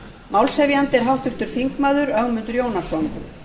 málshefjandi er háttvirtur þingmaður ögmundur jónasson